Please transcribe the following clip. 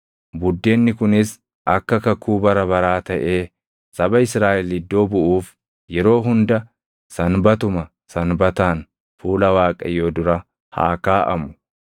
Buddeenni kunis akka kakuu bara baraa taʼee saba Israaʼel iddoo buʼuuf yeroo hunda Sanbatuma Sanbataan fuula Waaqayyoo dura haa kaaʼamu.